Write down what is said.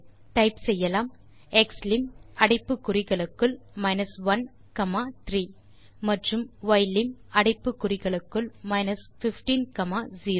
type செய்யலாம் க்ஸ்லிம் அடைப்பு குறிகளுக்குள் 1 காமா 3 மற்றும் யிலிம் அடைப்பு குறிகளுக்குள் 15 காமா 0